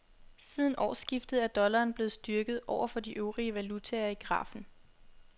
Siden årsskiftet er dollaren blevet styrket over for de øvrige valutaer i grafen.